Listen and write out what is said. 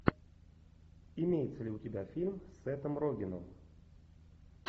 имеется ли у тебя фильм с сетом рогеном